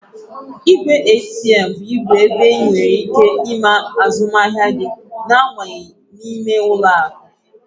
Ìgwè ATM bụ igwe ebe ị nwèrè ike ime azụmahịa gị na abanyeghị n'ime ụlọ akụ